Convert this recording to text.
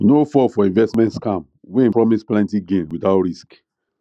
no fall for investment scam wey promise plenty gain without risk